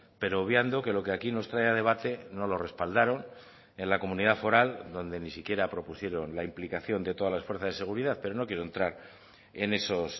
pero obviando que lo que aquí nos trae a debate no lo respaldaron en la comunidad foral donde ni siquiera propusieron la implicación de todas las fuerzas de seguridad pero no quiero entrar en esos